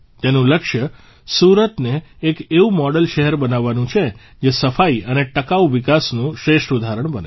તેનું લક્ષ્ય સુરતને એક એવુ મોડેલ શહેર બનાવવાનું છે જે સફાઇ અને ટકાઉ વિકાસનું શ્રેષ્ઠ ઉદાહરણ બને